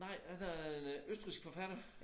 Nej han er en øh østrigsk forfatter